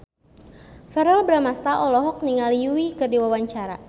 Verrell Bramastra olohok ningali Yui keur diwawancara